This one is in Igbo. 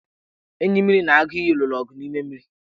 Enyimmiri na aguiyi lụrụ ọgụ n' ime mmiri.